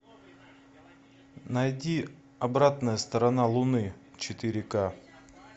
найди обратная сторона луны четыре ка